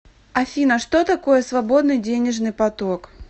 афина что такое свободный денежный поток